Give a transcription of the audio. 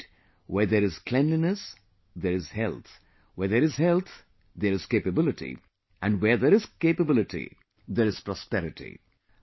Indeed, where there is cleanliness, there is health, where there is health, there is capability, and where there is capability, there is prosperity